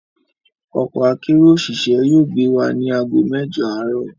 Ọkọ akérò òṣìṣẹ́ yóò gbé wa ní àgó mẹ́jọ̀ àárọ̀